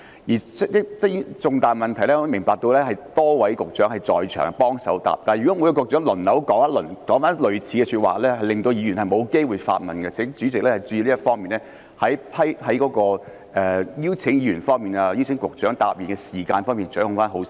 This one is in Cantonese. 關於這類重大問題，我明白有多位局長在場協助回答，但如果局長輪流作出類似的答覆，便會令議員沒機會發問，請代理主席就邀請議員提問及邀請局長回答的時間方面掌握得好一點。